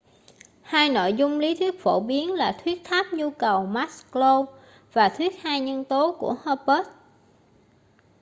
hai nội dung lý thuyết phổ biến là thuyết tháp nhu cầu maslow và thuyết hai nhân tố của hertzberg